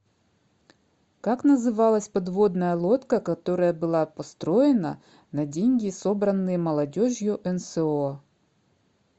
как называлась подводная лодка которая была построена на деньги собранные молодежью нсо